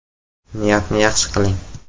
Niyatni yaxshi qiling!